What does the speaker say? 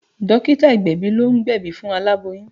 Dókítà ìgbẹ̀bì ló ń gbebi fún alaboyun